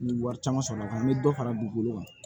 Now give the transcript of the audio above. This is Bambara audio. N ye wari caman sɔrɔ a kɔnɔ n bɛ dɔ fara dugukolo kan